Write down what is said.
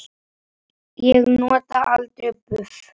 Ég nota aldrei buff.